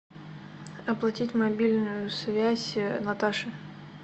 оплатить мобильную связь наташе